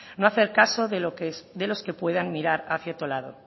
no hacer caso de los que puedan mirar hacia otro lado